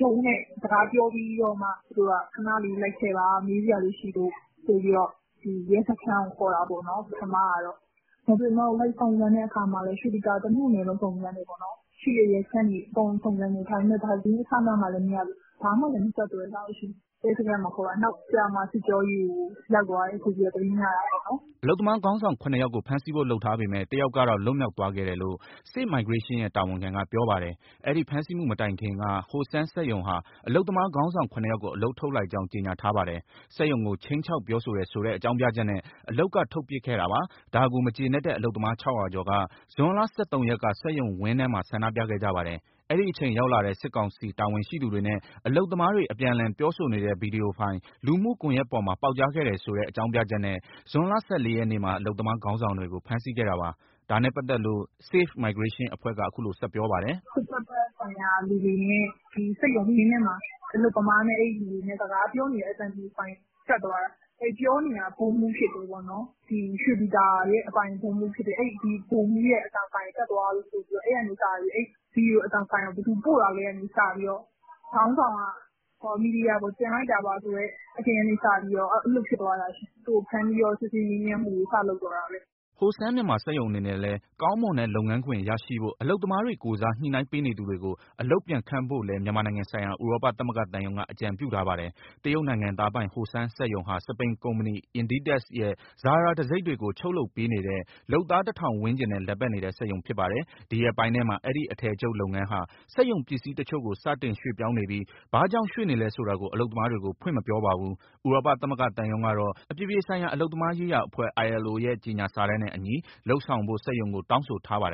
ရုံး နဲ့ စကားပြောပြီးတော့မှ ခဏလေးလိုက်ခဲ့ပါ မေးစရာလေးရှိလို့ ဆိုပြီးတော့ ရဲစခန်းကို ခေါ်တာပေါ့နော် ပထမကတော့။ လိုက်စုံစမ်းတဲ့အခါမှာလည်း ရွှေပြည်သာ တမြို့နယ်လုံး စုံစမ်းတယ်၊ ရှိတဲ့ရဲစခန်းတွေ အကုန်စုံစမ်းတယ်၊ ဒါပေမဲ့ ဘာသတင်းအစအနမှလည်း မရဘူး၊ ဘာမှလည်း မဆက်သွယ်လာဘူး။ နောက်ကြမှ စစ်ကြောရေးကို ရောက်သွားတယ်ဆိုပြီး သတင်းရတာပေါ့နော်။" အလုပ်သမားခေါင်းဆောင် ၇ယောက်ကို ဖမ်းဆီးဖို့ လုပ်ထားပေမဲ့ တယောက်ကတော့ လွတ်မြောက်သွားခဲ့တယ်လို့ Safe Migration ရဲ့ တာဝန်ခံက ပြောပါတယ်။ အဲဒီဖမ်းဆီးမှု မတိုင်ခင်က Hosheng စက်ရုံဟာ အလုပ်သမားခေါင်းဆောင် ၇ယောက်ကို အလုပ်ထုတ်လိုက်ကြောင်း ကြေညာထားပါတယ်။ စက်ရုံကို ခြိမ်းခြောက် ပြောဆိုတယ်ဆိုတဲ့ အကြောင်းပြချက်နဲ့ အလုပ်က ထုတ်ပစ်ခဲ့တာပါ။ ဒါကို မကျေနပ်တဲ့ အလုပ်သမား ၆၀၀ ကျော်က ဇွန်လ၁၃ရက်က စက်ရုံဝင်းထဲမှာ ဆန္ဒပြခဲ့ကြပါတယ်။ အဲဒီအချိန်ရောက်လာတဲ့ စစ်ကောင်စီ တာဝန်ရှိသူတွေနဲ့ အလုပ်သမားတွေ အပြန်အလှန်ပြောဆိုနေတဲ့ ဗွီဒီယိုဖိုင် လူမှုကွန်ရက်ပေါ်မှာ ပေါက်ကြားခဲ့တယ်ဆိုတဲ့ အကြောင်းပြချက်နဲ့ ဇွန်လ ၁၄ရက်မှာ အလုပ်သမား ခေါင်းဆောင်တွေကို ဖမ်းဆီးခဲ့တာပါ။ ဒါနဲ့ပတ်သက်လို့ Safe Migration အဖွဲ့က အခုလိုဆက်ပြောပါတယ်။ "သူတို့ စစ်ဘက်ဆိုင်ရာလူတွေနဲ့ ဒီစက်ရုံဝင်းထဲမှာ အလုပ်သမားတွေနဲ့ အဲဒီလူတွေ စကားပြောနေတဲ့ ဗွီဒီယိုအသံဖိုင် တက်သွားတာ။ ပြောနေတာ ဗိုလ်မှူးဖြစ်တယ်၊ ရွှေပြည်သာရဲ့အပိုင် ဗိုလ်မှူးဖြစ်တယ်။ ဗိုလ်မှူးရဲ့အသံဖိုင် တက်သွားလို့ဆိုပြီး အဲဒီကနေစပြီး၊ ဗွီဒီယိုအသံဖိုင်ကို ဘယ်သူပို့တာလဲကစပြီး၊ ခေါင်းဆောင်က မီဒီယာပေါ် တင်လိုက်တာပါဆိုတဲ့ အထင်ကစပြီး အဲလိုဖြစ်သွားတာ။ သူ့ကိုဖမ်းပြီး စစ်ဆေးမှုတွေ စလုပ်တော့တာပဲ။" Hosheng Myanmar စက်ရုံအနေနဲ့လည်း ကောင်းမွန်တဲ့လုပ်ငန်းခွင် ရရှိဖို့ အလုပ်သမားတွေကိုယ်စား ညှိနှိုင်းပေးနေသူတွေကို အလုပ်ပြန်ခန့်ဖို့လည်း မြန်မာနိုင်ငံဆိုင်ရာ ဥရောပသမဂ္ဂသံရုံးက အကြံပြုထားပါတယ်။ တရုတ်နိုင်ငံသားပိုင် Hosheng စက်ရုံဟာ စပိန်ကုမ္ပဏီ INDITEX ရဲ့ Zara တံဆိပ်တွေကို ချုပ်လုပ်ပေးနေတဲ့ လုပ်သား ၁,၀၀၀ ဝန်းကျင်နဲ့ လည်ပတ်နေတဲ့ စက်ရုံဖြစ်ပါတယ်။ ဒီရက်ပိုင်းထဲမှာ အဲဒီအထည်ချုပ်လုပ်ငန်းဟာ စက်ရုံပစ္စည်းတချို့ကို စတင်ရွှေ့ပြောင်းနေပြီး ဘာကြောင့် ရွှေ့နေလဲဆိုတာကို အလုပ်သမားတွေကို ဖွင့်မပြောပါဘူး။ ဥရောပသမဂ္ဂသံရုံးကတော့ အပြည်ပြည်ဆိုင်ရာ အလုပ်သမားရေးရာအဖွဲ့ ILO ရဲ့ ကြေညာစာတမ်းနဲ့အညီ လုပ်ဆောင်ဖို့ စက်ရုံကို တောင်းဆိုထားပါတယ်